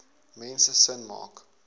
mense sin maak